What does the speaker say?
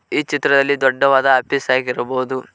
ಈ ಚಿತ್ರದಲ್ಲಿ ದೊಡ್ಡವಾದ ಆಫೀಸ್ ಆಗಿರಬಹುದು.